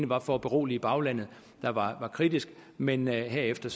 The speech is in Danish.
var for at berolige baglandet der var kritisk men herefter